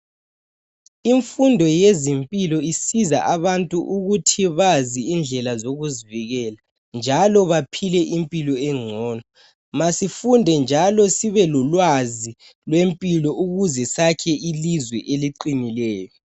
imfundo yezimpilo isiza abantu ukuthi bazi indlela zokuzivikela njalo baphile impilo engcono masifunde njalo sibe lolwazi lwempilo ukuze sakhe ilizwe eliqinileyo